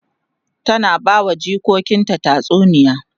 ta na bawa jikokinta tatsuniya